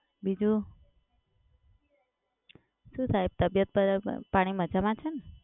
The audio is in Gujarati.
બીજું, શું સાહેબ તબિયત પાણી મજામાં છે ને?